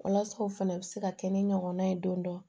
Walasa o fana bɛ se ka kɛ ni ɲɔgɔnna ye don dɔ